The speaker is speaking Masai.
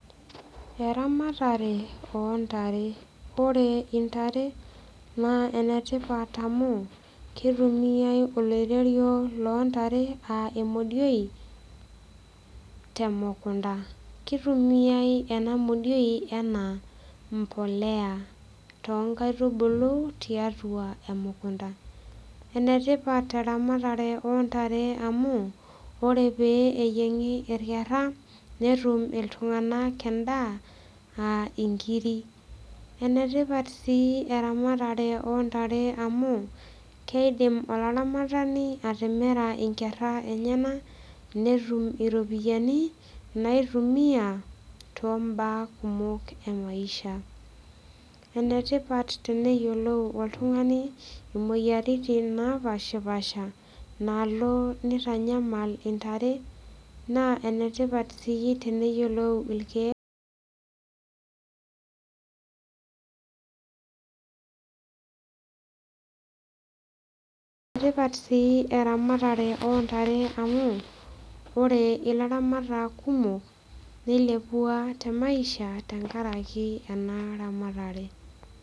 Eramatare ontare ore intare naa enetipat amu keitumiae oloirerio lontare uh emodioi temukunta kitumiae ena modioi enaa mpoleya tonkaitubulu tiatua emukunta enetipat eramatata ontare amu ore pee eyieng'i irkerra netum itung'anak endaa aa inkiri enetipat sii eramatare ontare amu keidim olaramatani atimira inkerra enyenak netum iropiyiani naitumia tombaa kumok emaisha enetipat teneyiolou oltung'ani imoyiaritin napashipasha naalo nitanyamal intare naa enetipat sii teneyiolou ilkeek enetipat sii eramatare ontare amu ore ilaramatak kumok nilepua te maisha tenkaraki ena ramatare.